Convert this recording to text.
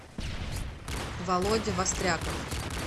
володя востряков